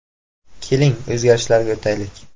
Keling, o‘zgarishlarga o‘taylik.